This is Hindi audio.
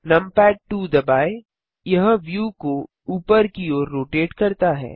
नमपैड 2 दबाएँ यह व्यू को ऊपर की ओर रोटेट करता है